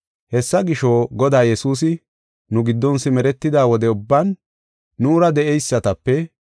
“Hessa gisho, Godaa Yesuusi nu giddon simeretida wode ubban nuura de7eysatape,